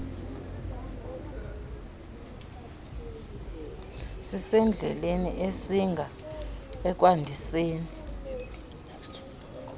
sisendleleni esinga ekwandiseni